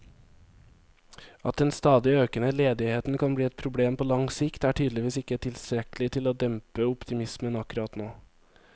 At den stadig økende ledigheten kan bli et problem på lang sikt, er tydeligvis ikke tilstrekkelig til å dempe optimismen akkurat nå.